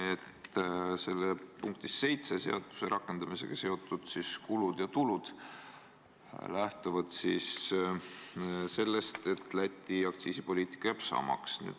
Seletuskirja punktis 7 "Seaduse rakendamisega seotud riigi tegevused, eeldatavad kulud ja tulud" lähtutakse sellest, et Läti aktsiisipoliitika jääb samaks.